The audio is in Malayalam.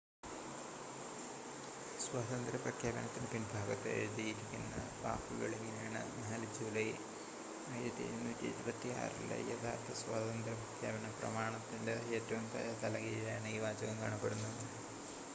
"സ്വാതന്ത്ര്യ പ്രഖ്യാപനത്തിന്റെ പിൻഭാഗത്ത് എഴുതിയിരുന്ന വാക്കുകൾ ഇങ്ങനെയാണ് "4 ജൂലൈ 1776 ലെ യഥാർത്ഥ സ്വാതന്ത്ര്യ പ്രഖ്യാപനം"".പ്രമാണത്തിന്റെ ഏറ്റവും താഴെ തലകീഴായാണ് ഈ വാചകം കാണപ്പെടുന്നത്.